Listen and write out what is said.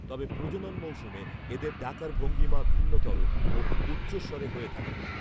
তবে প্রজনন মৌসুমে এদের ডাকার ভঙ্গীমা ভিন্নতর ও ঔচ্চস্বরে হয়ে থাকে